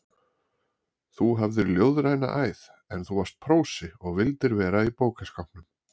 Þú hafðir ljóðræna æð, en þú varst prósi og vildir vera í bókaskápnum.